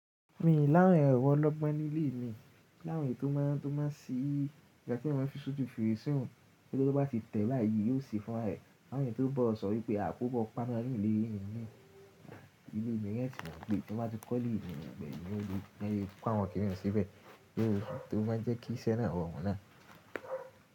Mi ni awon èrò ọlọ́gbọ́n ní ilé mi, ni áwon tó máa, tó máa sí ìgbà tí eyan maa n fi sójú ferese ún, to je wipe tó bá ti tẹ̀ báyìí yóò si fún ra ẹ. Láàrin tó bọ̀ sọ wípé a kò bọ́ pana ní ìdílé mi ní, ilé mi yẹn sì wọ́n pé tó bá ti kọ́ ilé mi nígbà ẹni yóò lè yé kí n pá wọn kí n lọ síbẹ̀. O máa ń jẹ́ kí iṣẹ́ náà rorun náà.